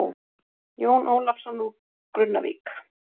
Jón Ólafsson úr Grunnavík.